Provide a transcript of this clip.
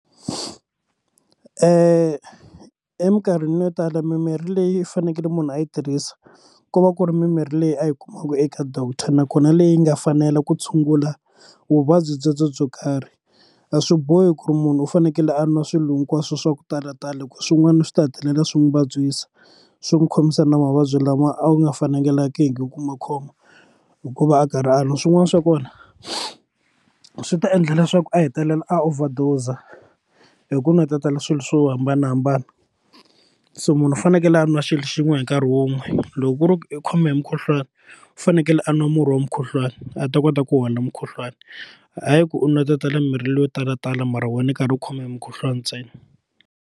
Minkarhini yo tala mimirhi leyi fanekele munhu a yi tirhisa ko va ku ri mimirhi leyi a yi kumaka eka doctor nakona leyi nga fanela ku tshungula vuvabyi byebyo byo karhi a swi bohi ku ri munhu u fanekele a nwa swilo hinkwaswo swa ku talatala hi ku swin'wana swi ta hetelela swi n'wi vabyisa swi n'wi khomisana na mavabyi lama a wu nga fanelangiki ku ma khoma hikuva a karhi a swin'wana swa kona swi ta endla leswaku a hetelela a overdose hi ku nwetetela swilo swo hambanahambana so munhu u fanekele a nwa xilo xin'we hi nkarhi wun'we loko ku ri i khome hi mukhuhlwani u fanekele a nwa murhi wa mukhuhlwani a ta kota ku hola mukhuhlwani hayi ku ri u nwetetela mimirhi leyo talatala mara wena u karhi u khome hi mukhuhlwana ntsena.